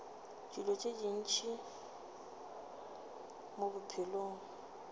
dilo tše ntši mo bophelong